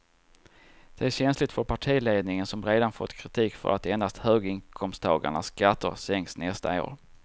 Det är känsligt för partiledningen som redan fått kritik för att endast höginkomsttagarnas skatter sänks nästa år.